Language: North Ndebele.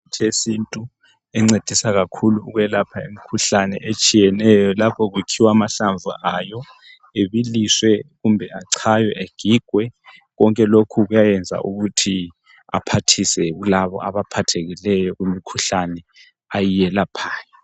Imithi yesintu encedisa kakhulu ukulapha imithi etshiyeneyo lapho kukhiwa amahlamvu ayo abiliswe kumbe achaywe agigwe konke lokhu kuyayenza ukuthi aphathise kulabo abaphathekileyo kumikhuhlani ayelaphayo